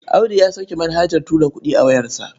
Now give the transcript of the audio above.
Audu ya sauke manhajar tura kuɗi a wayarsa.